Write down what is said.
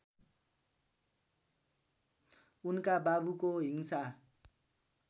उनका बाबुको हिंसा